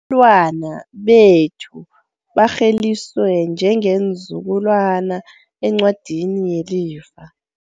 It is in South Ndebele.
Abantwana bethu barheliswe njengeenzukulwana encwadini yelifa.